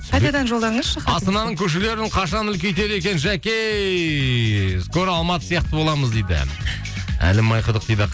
қайтадан жолдаңызшы хатты астананың көшелерін қашан үлкейтеді екен жәке скоро алматы сияқты боламыз дейді әлім майқұдық дейді